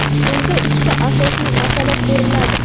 unda ikkita asosiy masala ko‘riladi.